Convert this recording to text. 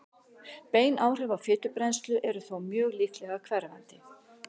bein áhrif á fitubrennslu eru þó mjög líklega hverfandi